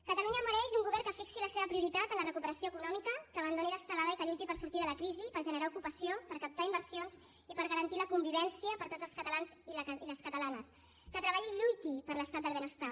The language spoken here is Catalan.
catalunya mereix un govern que fixi la seva prioritat en la recuperació econòmica que abandoni l’estelada i que lluiti per sortir de la crisi per generar ocupació per captar inversions i per garantir la convivència per a tots els catalans i les catalanes que treballi i lluiti per l’estat del benestar